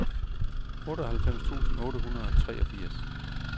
otteoghalvfems tusind otte hundrede og treogfirs